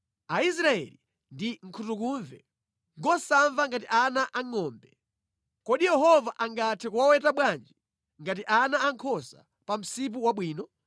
Aisraeli ndi nkhutukumve, ngosamva ngati ana angʼombe. Kodi Yehova angathe kuwaweta bwanji ngati ana ankhosa pa msipu wabwino?